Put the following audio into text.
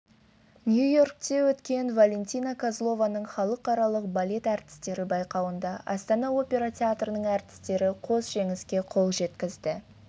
нью-йоркте өткен валентина козлованың халықаралық балет әртістері байқауында астана опера театрының әртістері қос жеңіске қол жеткізді